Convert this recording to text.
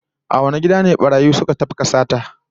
A wane gida ne barayi suka tafka sata?